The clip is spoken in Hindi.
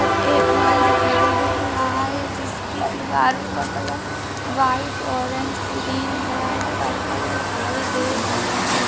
यह एक हॉल दिखाई दे रहा है जिसकी दिवालो का colour white orange red purple दिखाई दे रहा है।